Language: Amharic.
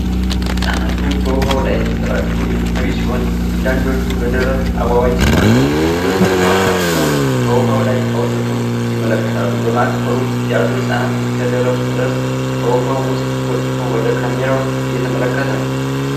ህጻናቱ በውሃው ላይ ተሰራጭተው የሚታዩ ሲሆን፣ አንዳንዶቹ በደረት አዋዋምሲዋኙ ሌሎች ደግሞ ራሳቸውን ከውሃው ላይ አውጥተው ይመለከታሉ። በማዕከሉ ያለው ህጻን እስከ ደረቱ ድረስ ከውሃው ውስጥ ወጥቶ ወደ ካሜራው እየተመለከተ ነው።